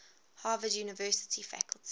harvard university faculty